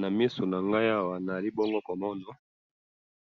Namiso nangayi awa nazali bongo komona